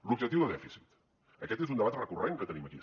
l’objectiu de dèficit aquest és un debat recurrent que tenim aquí